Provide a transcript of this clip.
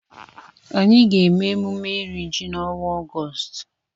Anyị ga-eme emume iri ji n'ọnwa Ọgọọst.